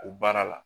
O baara la